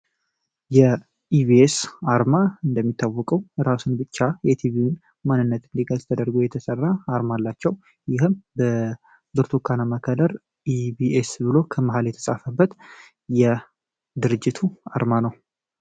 የኢቢኤስ አርማ እንደሚታወቀው እራሱ ብቻ የቲቪ ማንነት እንዲገልጽ ተደርጎ የተሰራ አርማ አላቸው። ይህም በብርቱካናማ ከለር ኢቢኤስ ተብሎ ከመሃል የተጻፈበት የድርጅቱ አርማ ነው።